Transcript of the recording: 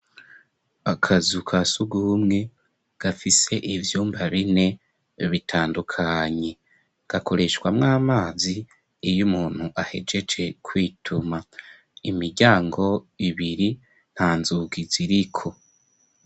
Akazu kasuguhumwe gafise ivyumba bine bitandukanye gakoreshwa mw'amazi iy umuntu ahejeje kwituma imiryango ibiri nta nzugi ziriko.